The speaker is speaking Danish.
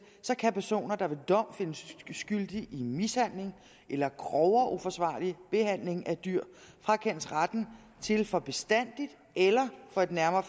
kan personer der ved dom findes skyldige i mishandling eller grovere uforsvarlig behandling af dyr frakendes retten til for bestandig eller for et nærmere